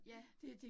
Ja